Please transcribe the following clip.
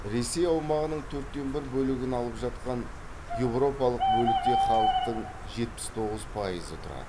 ресей аумағының төрттен бір бөлігін алып жатқан еуропалық бөлікте халықтың жетпіс тоғыз пайызы тұрады